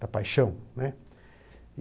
da paixão, né.